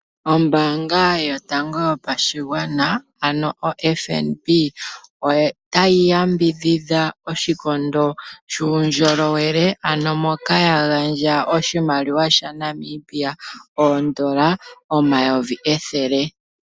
Ombaanga yotango yopashigwana, ano oFNB, otayi yambidhidha oshikondo shuundjolowele, ano moka ya gandja oshimaliwa shaNamibia oondola eyovi ethele.